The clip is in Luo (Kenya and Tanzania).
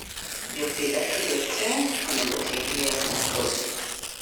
jopidh atudoo tee onego tii gi yath mopuodhi